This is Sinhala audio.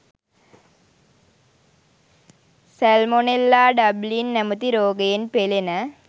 සැල්මොනෙල්ලා ඩබ්ලින් නැමැති රෝගයෙන් පෙළෙන